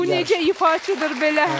Bu necə ifaçıdır belə?